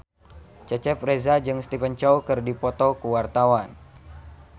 Cecep Reza jeung Stephen Chow keur dipoto ku wartawan